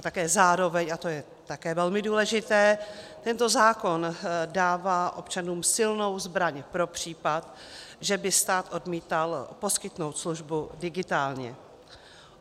A také zároveň, a to je také velmi důležité, tento zákon dává občanům silnou zbraň pro případ, že by stát odmítal poskytnout službu digitálně.